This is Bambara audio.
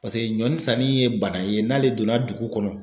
Paseke ɲɔnisanni ye bana ye n'ale donna dugu kɔnɔ.